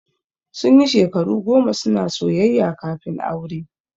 Sun yi shekaru goma suna soyayya kafin aure.